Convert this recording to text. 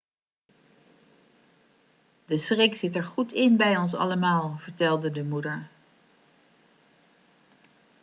de schrik zit er goed in bij ons allemaal' vertelde de moeder